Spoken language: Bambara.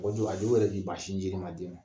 O don a dɔw yɛrɛ b'i ba sinjidi ma den ma